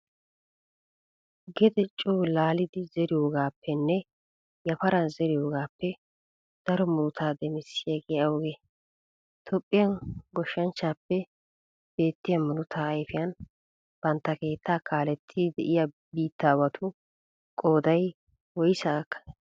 Gede coo laalidi zeriyogaappenne yafaran zeriyogaappe daro murutaa demissiyagee awugee? Toophphiyan Goshshaappe beettiya murutaa ayfiyan bantta keettaa kaalettiiddi de'iya biittaawatu qooday woysaa gakkanee?